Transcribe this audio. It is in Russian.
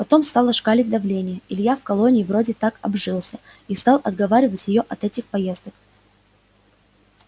потом стало шкалить давление илья в колонии вроде так обжился и стал отговаривать её от этих поездок